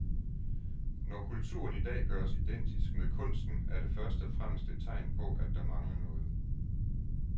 Når kulturen i dag gøres identisk med kunsten er det først og fremmest et tegn på at der mangler noget.